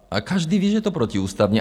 A každý ví, že je to protiústavní.